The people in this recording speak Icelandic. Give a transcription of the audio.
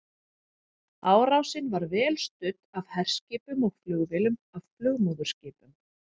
Árásin var vel studd af herskipum og flugvélum af flugmóðurskipum.